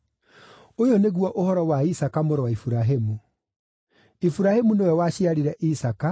Ũyũ nĩguo ũhoro wa Isaaka mũrũ wa Iburahĩmu. Iburahĩmu nĩwe waciarire Isaaka,